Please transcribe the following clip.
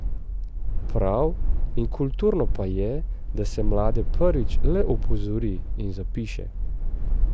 Prav in kulturno pa je, da se mlade prvič le opozori in zapiše.